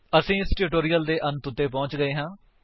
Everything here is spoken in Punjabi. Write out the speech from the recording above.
ਅਸੀ ਇਸ ਟਿਊਟੋਰਿਅਲ ਦੀ ਅੰਤ ਉੱਤੇ ਪਹੁੰਚ ਗਏ ਹਾਂ